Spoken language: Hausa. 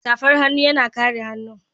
safar hannu yana kare hannun